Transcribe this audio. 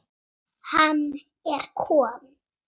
Hann er kom